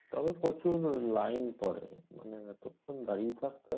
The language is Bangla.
তবে প্রচুর লাইন পরে মানে এতক্ষন দাঁড়িয়ে থাকতে